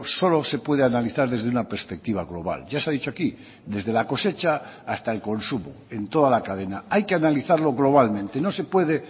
solo se puede analizar desde una perspectiva global ya se ha dicho aquí desde la cosecha hasta el consumo en toda la cadena hay que analizarlo globalmente no se puede